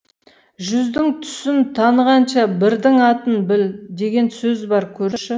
жүздің түсін танығанша бірдің атын біл деген сөз бар көрші